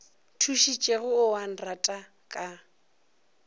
thušitšego o a nrata ka